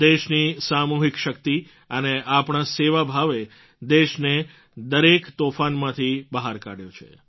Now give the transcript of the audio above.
દેશની સામૂહિક શક્તિ અને આપણા સેવા ભાવે દેશને દરેક તોફાનમાંથી બહાર કાઢ્યો છે